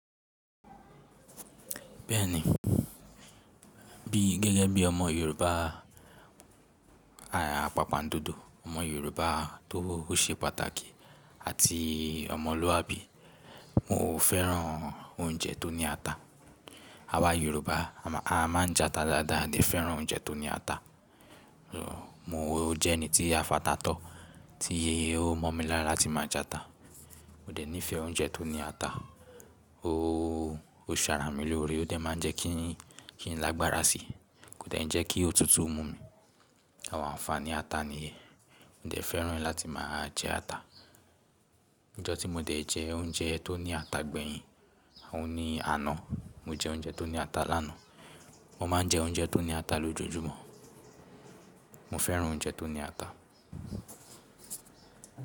Bẹ́ẹ̀ni, bí gẹ́gẹ́ bí ọmọ Yorùbá, àpapàn dodo, ọmọ Yorùbá tó ṣe pàtàkì àti ọmọlúàbí, mo fẹ́ràn oúnjẹ tó ní ata. Awà Yorùbá, a máa ń jẹ ata dáadáa, a dè fẹ́ràn oúnjẹ tó ní ata. Mo jẹ́ ẹni tí a fàtà tọ́, tí o mọ̀ mí lára kín máa jẹ ata. Mo dẹ̀ nífẹ̀ẹ́ oúnjẹ tó ní ata, ó ṣàrà mí l'óre, ó dẹ̀ máa ń jẹ́ kí n lágbára síi, kó dẹ̀ ń jẹ́ kí òtútù mú mi. Awon anfani ata níyen. Mo de fẹ́ràn láti máa jẹ ata. Ọjọ́ tí mo dẹ̀ jẹ oúnjẹ tó ní ata gbẹ̀yìn, òun ni àná, mo jẹ oúnjẹ tó ní ata lánàá. Mo máa ń jẹ oúnjẹ tó ní ata lójoojúmọ́. Mo fẹ́ràn oúnjẹ tó ní ata.